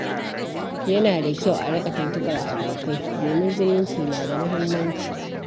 Yana da kyau a riƙa tuntubar abokai, domin zumunci na da muhimmanci.